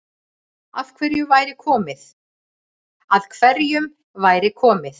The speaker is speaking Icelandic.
Að hverjum væri komið